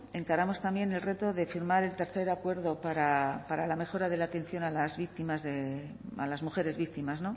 encaramos también el reto de firmar el tercer acuerdo para la mejora de la atención a las mujeres víctimas